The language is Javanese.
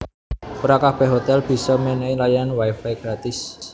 Ora kabèh hotèl bisa mènèhi layanan wi fi gratis